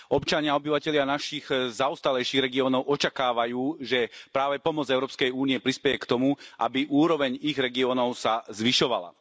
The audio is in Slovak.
Občania, obyvatelia našich zaostalejších regiónov očakávajú, že práve pomoc Európskej únie prispeje k tomu, aby úroveň ich regiónov sa zvyšovala.